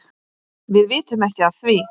Við vitum ekki af því.